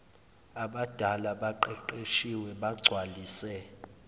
ababali abaqeqeshiwe bagcwalise